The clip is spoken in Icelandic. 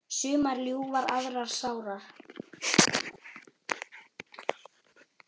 Sumar ljúfar aðrar sárar.